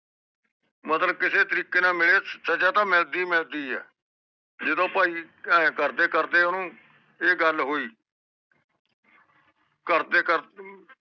ਮਤਲਬ ਕਿਸੇ ਤਰੀਕੇ ਨਾਲ ਮਿਲੇ ਸਜਾ ਤਾ ਮਿਲਦੀ ਮਿਲਦੀ ਏ ਜਿਦੋ ਭਾਈ ਏ ਕਰਦੇ ਕਰਦੇ ਓਹਨੂੰ ਇਹ ਗੱਲ ਹੋਇ ਕਰਦੇ ਕਰਦੇ